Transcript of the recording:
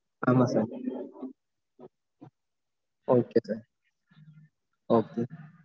ஆமா sir okay sirokay sir